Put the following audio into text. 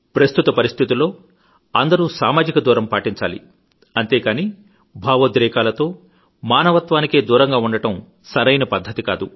ప్రస్తుత పరిస్థితుల్లో అందరూ సామాజిక దూరం పాటించాలి అంతేకానీ భావోద్రేకాలతో మానవత్వానికే దూరంగా ఉండడం సరియైన పద్ధతికాదు